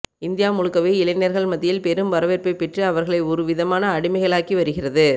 India முழுக்கவே இளைஞர்கள் மத்தியில் பெரும் வரவேற்பை பெற்று அவர்களை ஒருவிதமான அடிமைகளாக்கி வருகிறது